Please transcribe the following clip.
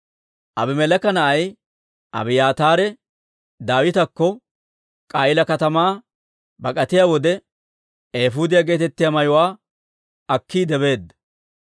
Abimeleeka na'ay Abiyaataare Daawitakko K'a'iila katamaa bak'atiyaa wode, eefuudiyaa geetettiyaa mayuwaa akkiide beedda.